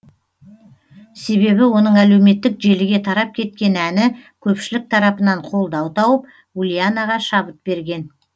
себебі оның әлеуметтік желіге тарап кеткен әні көпшілік тарапынан қолдау тауып ульянаға шабыт берген